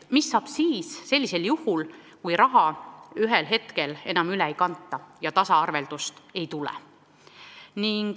Mis saab sellisel juhul, kui raha ühel hetkel enam üle ei kanta ja tasaarveldust ei tule?